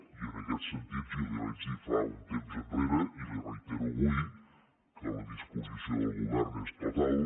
i en aquest sentit jo li vaig dir fa un temps enrere i li ho reitero avui que la disposició del govern és total